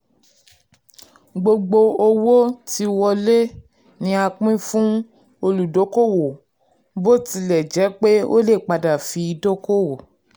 gbogbo owó tí wọlé ni a pín fún olùdókòwò bó tilẹ̀ jẹ́ pé ó lè padà fi dókòwò.